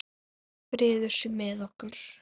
Friður sé með okkur.